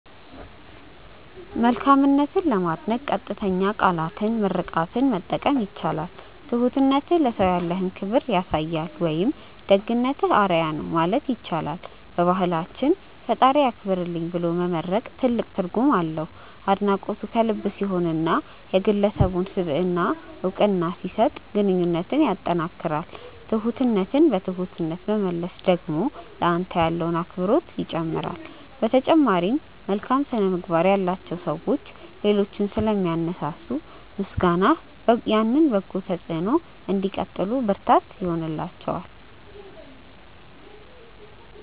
መልካምነትን ለማድነቅ ቀጥተኛ ቃላትና ምርቃትን መጠቀም ይቻላል። "ትሁትነትህ ለሰው ያለህን ክብር ያሳያል" ወይም "ደግነትህ አርአያ ነው" ማለት ይቻላል። በባህላችን "ፈጣሪ ያክብርልኝ" ብሎ መመርቅ ትልቅ ትርጉም አለው። አድናቆቱ ከልብ ሲሆንና የግለሰቡን ስብዕና እውቅና ሲሰጥ ግንኙነትን ያጠናክራል። ትሁትነትን በትሁትነት መመለስ ደግሞ ለአንተ ያለውን አክብሮት ይጨምራል። በተጨማሪም፣ መልካም ስነ-ምግባር ያላቸው ሰዎች ሌሎችን ስለሚያነሳሱ፣ ምስጋናህ ያንን በጎ ተጽዕኖ እንዲቀጥሉ ብርታት ይላቸዋል።